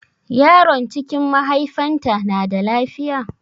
Yaron cikin mahaifanta na da lafiya?